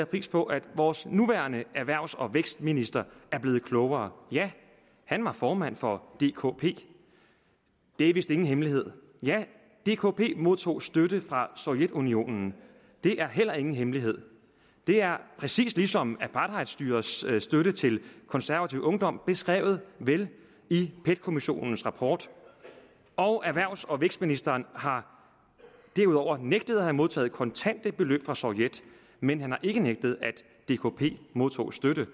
pris på at vores nuværende erhvervs og vækstminister er blevet klogere ja han var formand for dkp det er vist ingen hemmelighed ja dkp modtog støtte fra sovjetunionen det er heller ingen hemmelighed det er præcis ligesom apartheidstyrets støtte til konservativ ungdom beskrevet vel i pet kommissionens rapport og erhvervs og vækstministeren har derudover nægtet at have modtaget kontante beløb fra sovjet men han har ikke nægtet at dkp modtog støtte